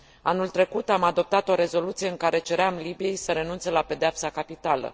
Anul trecut, am adoptat o rezoluție în care ceream Libiei să renunțe la pedeapsa capitală.